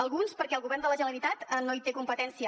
alguns perquè el govern de la generalitat no hi té competència